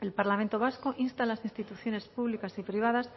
el parlamento vasco insta a las instituciones públicas y privadas